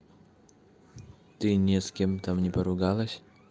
ты не с кем там не поругалась